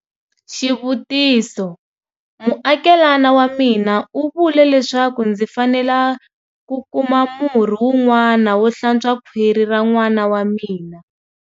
Xivutiso- Muakelana wa mina u vule leswaku ndzi fanele ku kuma murhi wun'wana wo hlantswa khwiri ra n'wana wa mina.